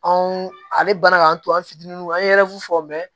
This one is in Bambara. Anw ale banna k'an to an fitininw an ye fɔ